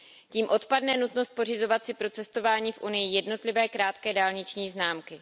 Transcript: Tím odpadne nutnost pořizovat si pro cestování v Unii jednotlivé krátkodobé dálniční známky.